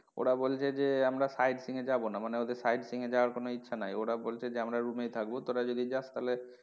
ওরা বলছে যে আমরা side seeing এ যাবো না মানে ওদের side seeing এ যাওয়ার কোনো ইচ্ছা নেই ওরা বলছে যে আমরা room এই থাকবো তোরা যদি যাস তাহলে,